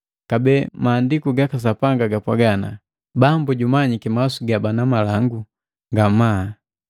Kabee maandiku gaka Sapanga gapwaga, “Bambu jumanyiki mawasu ga bana malangu nga namana.”